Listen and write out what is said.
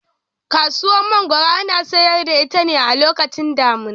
Kasuwar Mangoro ana sayar da ita ne a lokacin damina.